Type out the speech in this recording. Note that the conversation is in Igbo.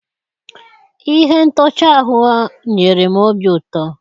Ihe ntọchi ahụ nyere m obi ụtọ.